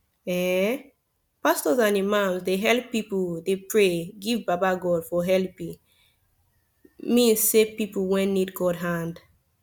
eeh pastos and imams dey helep pipu dey pray give baba godey for helepi mean say pipu wen need god hand